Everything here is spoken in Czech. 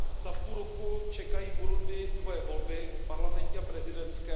Za půl roku čekají v Burundi dvoje volby parlamentní a prezidentské.